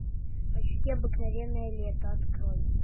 почти обыкновенное лето открой